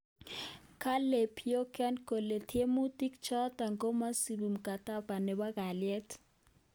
Kale Pyongyang kole tiemutik choto komesubi mkataba nebo kalyet